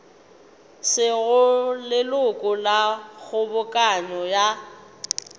sego leloko la kgobokano ya